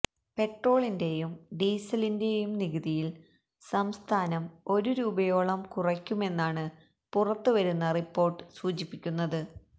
പെട്രോളിന്റെയും ഡീസലിന്റെയും നികുതിയില് സംസ്ഥാനം ഒരു രൂപയോളം കുറയ്ക്കുമെന്നാണ് പുറത്തുവരുന്ന റിപ്പോര്ട്ട് സൂചിപ്പിക്കുന്നത്